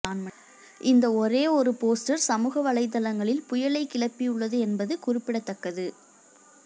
இந்த ஒரே ஒரு போஸ்டர் சமூக வலைத்தளங்களில் புயலை கிளப்பியுள்ளது என்பது குறிப்பிடத்தக்கது